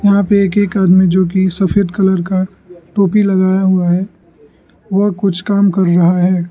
यहां पे एक एक आदमी जो की सफेद कलर का टोपी लगाए हुआ है वह कुछ काम कर रहा है।